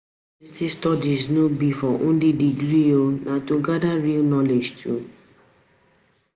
University studies no be for only degree, na to gather real knowledge too.